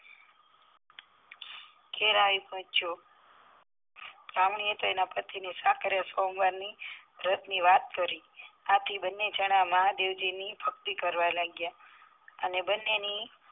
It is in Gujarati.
ઘેર આવી પોહ્ચ્યો બ્રાહ્મણીએ તો એના પતિને સાકરીયા સોમવાર વ્રતની વાત કરી આથી બંને જણા મહાદેવજીની ભક્તિ કરવા લાગ્યા અને બંનેની